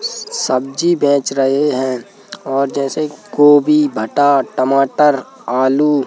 सब्ज़ी बेच रहे हैं और जैसे गोभी भटा टमाटर आलू --